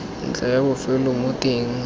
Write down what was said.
ntlha ya bofelo mo teng